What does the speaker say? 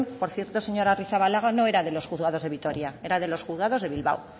por cierto señora arrizabalaga no era de los juzgados de vitoria era de los juzgados de bilbao